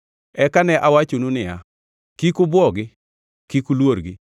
Eka ne awachonu niya, “Kik ubwogi, kik uluorgi